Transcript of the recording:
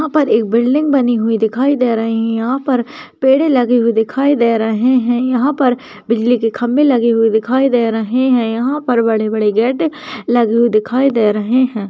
यहां पर एक बिल्डिंग बनी हुई दिखाई दे रही हैं यहां पर पेड़ लगे हुए दिखाई दे रहे हैं यहां पर बिजली के खम्भे लगे हुए दिखाई दे रहे हैं यहां पर बड़े बड़े गेट लगे हुए दिखाई दे रहे हैं |